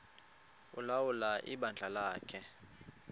ulawula ibandla lakhe